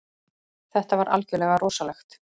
Þetta var algjörlega rosalegt